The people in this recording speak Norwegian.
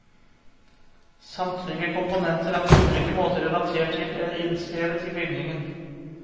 Samtlige komponenter er på ulike måter relatert til, eller innskrevet i bygningen.